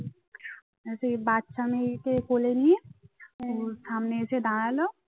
সে বাচ্চা মেয়েকে কোলে নিয়ে সামনে এসে দাঁড়ালো